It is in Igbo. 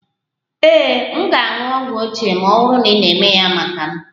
Ee, m ga-aṅụ ogwu ochie ma ọ bụrụ na ị na-eme ya maka m